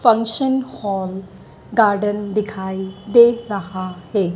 Function hall garden दिखाई दे रहा है।